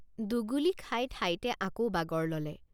দুগুলী খাই ঠাইতে আকৌ বাগৰ ললে।